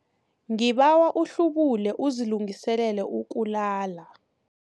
Ngibawa uhlubule uzilungiselele ukulala.